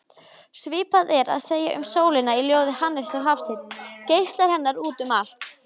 Svipað er að segja um sólina í ljóði Hannesar Hafstein: Geislar hennar út um allt